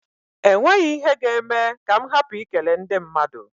E nweghi ihe ga-eme m ka m hapụ I kele ndị madụ.